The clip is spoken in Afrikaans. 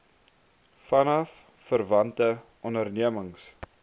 vanaf verwante ondernemings